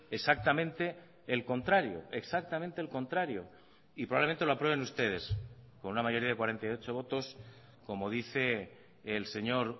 exactamente el contrario exactamente el contrario y probablemente lo aprueben ustedes con una mayoría de cuarenta y ocho votos como dice el señor